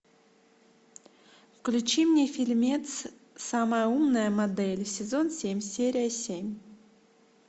включи мне фильмец самая умная модель сезон семь серия семь